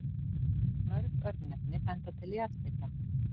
Mörg örnefni benda til jarðhita.